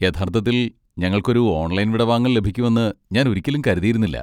യഥാർത്ഥത്തിൽ, ഞങ്ങൾക്ക് ഒരു ഓൺലൈൻ വിടവാങ്ങൽ ലഭിക്കുമെന്ന് ഞാൻ ഒരിക്കലും കരുതിയിരുന്നില്ല.